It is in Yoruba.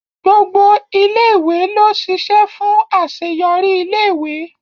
Gbogbo ilé ìwé ló ṣiṣẹ́ fún àṣeyọrí ilé ìwé